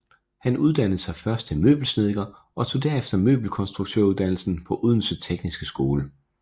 Han uddannede sig først til møbelsnedker og tog derefter møbelkonstruktøruddannelsen på Odense Tekniske Skole